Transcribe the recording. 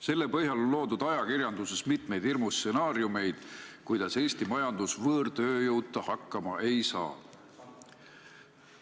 Selle põhjal on ajakirjanduses loodud mitmeid hirmustsenaariumeid, kuidas Eesti majandus võõrtööjõuta hakkama ei saa.